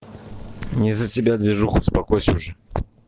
не за тебя движуха успокойся уже